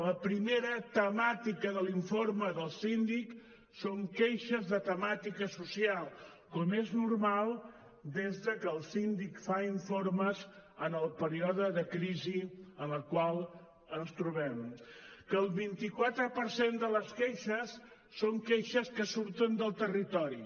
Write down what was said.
la primera temàtica de l’informe del síndic són queixes de temàtica social com és normal des que el síndic fa informes en el període de crisi en el qual ens trobem que el vint quatre per cent de les queixes són queixes que surten del territori